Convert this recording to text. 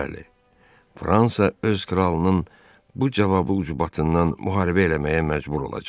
Bəli, Fransa öz kralının bu cavabı ucbatından müharibə eləməyə məcbur olacaq.